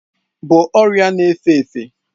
bụ ọria na efe efe.